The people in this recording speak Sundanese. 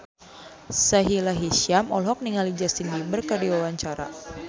Sahila Hisyam olohok ningali Justin Beiber keur diwawancara